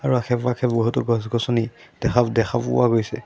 আশে-পাশে বহুতো গছ গছনি দেখা দেখা পোৱা গৈছে।